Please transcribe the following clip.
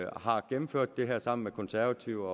har gennemført det her sammen med konservative